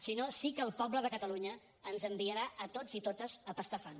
si no sí que el poble de catalunya ens enviarà a tots i totes a pastar fang